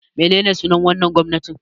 Menene sunar wannan gwamnatin?